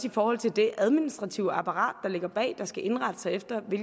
i forhold til det administrative apparat der ligger bag og som skal indrette sig efter